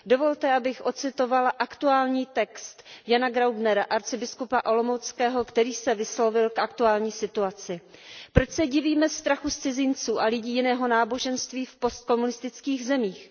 Dovolte, abych ocitovala aktuální text Jana Graubnera, arcibiskupa olomouckého, který se vyslovil k aktuální situaci Proč se divíme strachu z cizinců a lidí jiného náboženství v postkomunistických zemích?